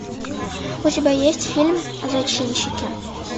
у тебя есть фильм зачинщики